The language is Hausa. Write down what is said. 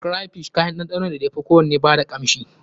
Crayfish kayan ɗanɗano ne da ya fi kowanne ba da kanshi.